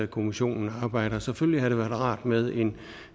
kommissionen arbejder selvfølgelig havde det været rart med